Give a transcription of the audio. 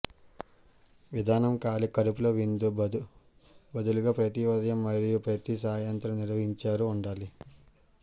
విధానం ఖాళీ కడుపుతో విందు బదులుగా ప్రతి ఉదయం మరియు ప్రతి సాయంత్రం నిర్వహించారు ఉండాలి